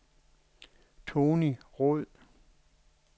Tonny Roed